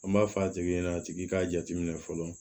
An b'a fɔ a tigi ɲɛna a tigi k'a jateminɛ fɔlɔ